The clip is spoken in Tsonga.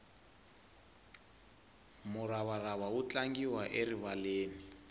muravarava wu tlangiwa erivaleni